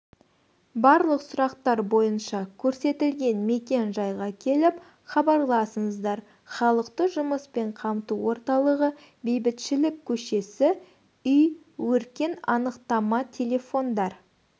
барлық сұрақтар бойынша көрсетілген мекен-жайға келіп хабарласыңызлар халықты жұмыспен қамту орталығы бейбітшілік көшесі үй өркен анықтамателефондар